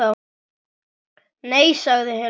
Nei, sagði Hilmar.